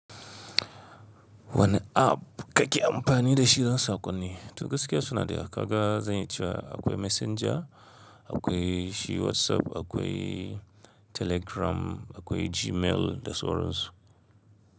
Wani app kake amfani da shi don sakonni? To gaskiya suna da yawa. Kaga, zan iya cewa akwai Messenger, akwai shi WhatsApp, akwai Telegram, akwai Gmail da sauran su.